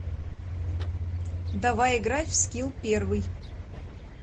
давай играть в скилл первый